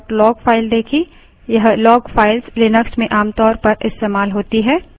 हमने पिछले उदाहरण में सिर्फ auth log file देखी